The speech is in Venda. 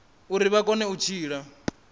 uri vha kone u tshila